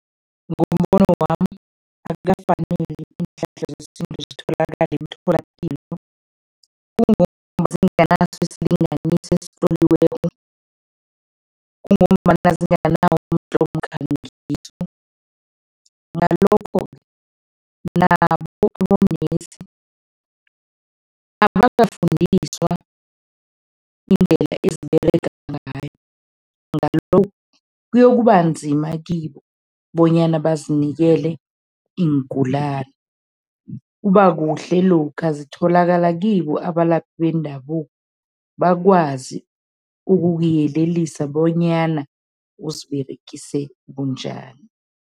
Ngombono wami, akukafaneli iinhlahla zesintu zitholakale emtholapilo zinganaso isilinganiso esitloliweko. Kungombana zinganawo mkhangiso, ngalokho nabo abonesi abakafundiswa iindlela eziberega ngayo. Ngalokhu kuyokuba nzima kibo bonyana bazinikele iingulani. Kuba kuhle lokha zitholakala kibo abalaphi bendabuko, bakwazi ukukuyelelisa bonyana uziberegise bunjani.